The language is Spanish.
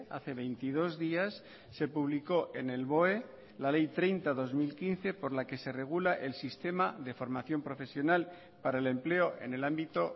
hace veintidós días se publicó en el boe la ley treinta barra dos mil quince por la que se regula el sistema de formación profesional para el empleo en el ámbito